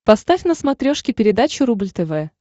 поставь на смотрешке передачу рубль тв